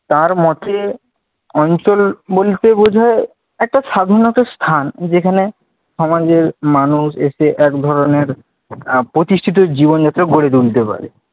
তার মতে অঞ্চল বলতে বোঝায়, একটা সাধারণ একটা স্থান যেখানে সমাজের মানুষ এসে এক ধরনের আহ প্রতিষ্ঠিত জীবন যাতে গড়ে তুলতে পারে।